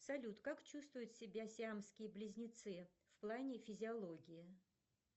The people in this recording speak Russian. салют как чувствуют себя сиамские близнецы в плане физиологии